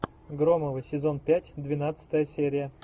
громовы сезон пять двенадцатая серия